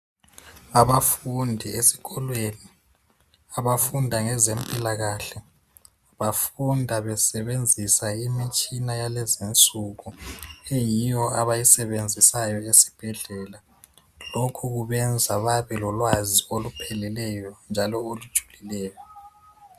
Abafundi esikolweni abafunda ngezempilakahle, bafunda besebenzisa imitshina yalezinsuku. Yiyo abayisebenzisayo esibhedlela. Lokhu kubenza babelolwazi olupheleleyo njalo olujulileyo.